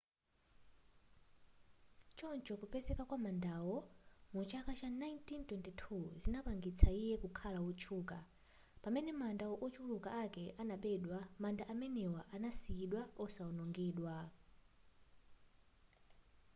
choncho kupezeka kwa mandawo mu chaka cha 1922 zinapangitsa iye kukhala wotchuka pamene manda ochuluka akale anabedwa manda amenewa anasiyidwa osawonongedwa